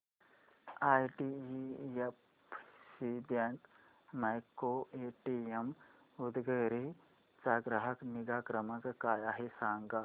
IDFC bank micro ATM Udgir चा ग्राहक निगा क्रमांक काय आहे सांगा